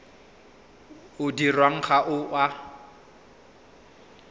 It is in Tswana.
o dirwang ga o a